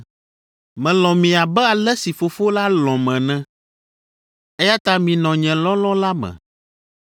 “Melɔ̃ mi abe ale si Fofo la lɔ̃m ene, eya ta minɔ nye lɔlɔ̃ la me.